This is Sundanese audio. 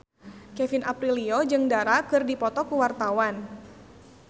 Kevin Aprilio jeung Dara keur dipoto ku wartawan